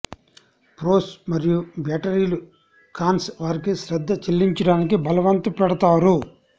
pros మరియు బ్యాటరీలు cons వారికి శ్రద్ధ చెల్లించటానికి బలవంత పెడతారు